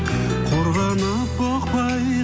қорғанып бұқпай